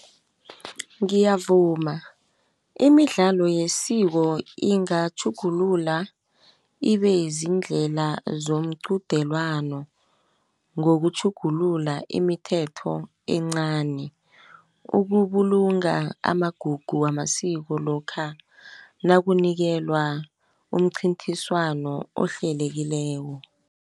Ngiyavuma imidlalo yesiko ingatjhugulula ibeziindlela zomqudelwano ngokutjhugulula imithetho encani. Ukubulunga amagugu wamasiko lokha nakunikelwa umncithiswano ohlelekileko.